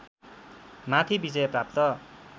माथि विजय प्राप्त